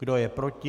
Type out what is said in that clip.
Kdo je proti?